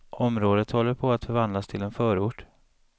Området håller på att förvandlas till en förort.